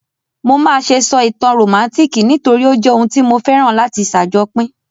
Mo máà se sọ ìtàn rómántikì nítorí o jẹ oun tí mo féràn láti sàjopín